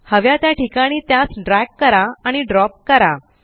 हव्या त्या ठिकाणी त्यास ड्रॅग आणि ड्रॉप करा